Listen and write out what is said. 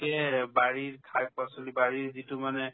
কে বাৰীৰ শাক-পাচলি বা এই যিটো মানে